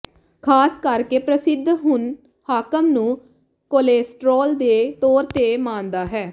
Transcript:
ਖ਼ਾਸ ਕਰਕੇ ਪ੍ਰਸਿੱਧ ਹੁਣ ਹਾਕਮ ਨੂੰ ਕੋਲੇਸਟ੍ਰੋਲ ਦੇ ਤੌਰ ਤੇ ਮਾਣਦਾ ਹੈ